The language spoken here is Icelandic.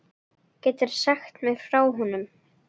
Geturðu sagt mér frá honum?